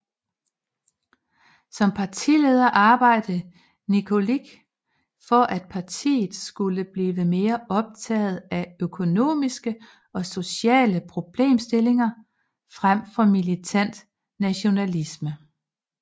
Som partileder arbejdede Nikolić for at partiet skulle blive mere optaget af økonomiske og sociale problemstillinger frem for militant nationalisme